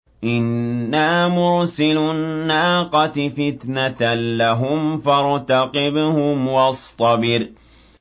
إِنَّا مُرْسِلُو النَّاقَةِ فِتْنَةً لَّهُمْ فَارْتَقِبْهُمْ وَاصْطَبِرْ